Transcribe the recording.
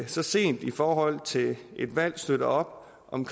så sent i forhold til et valg støtter op om